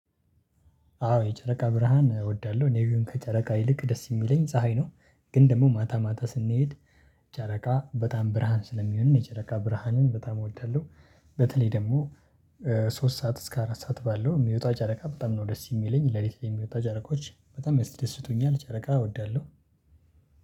አዎ የጨረቃ ብርሃን እወዳለሁ እኔ ግን ከጨረቃ ይልቅ ደስ የሚለኝ ፀሀይ ነው። ግን ደግሞ ማታ ማታ ስንሄድ ጨረቃ በጣም ብርሃን ስለሚሆንን የጨረቃ ብርሃንን በጣም እወዳለሁ። በተለይ ደግሞ ሶስት ሰዓት እስከ አራት ሰዓት ባለው ሚወጣው ጨረቃ በጣም ነው ደስ የሚለኝ ለሊት ላይ የሚወጣው ጨረቆች በጣም ያስደስቱኛል ጨረቃ እወዳለሁ።